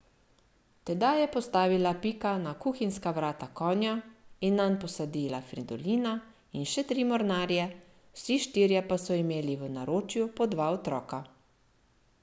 Tedaj je postavila Pika na kuhinjska vrata konja in nanj posadila Fridolina in še tri mornarje, vsi štirje pa so imeli v naročju po dva otroka.